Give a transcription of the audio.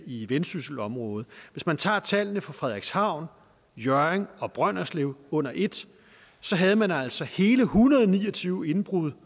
i vendsysselområdet hvis man tager tallene fra frederikshavn hjørring og brønderslev under et så havde man altså hele en hundrede og ni og tyve indbrud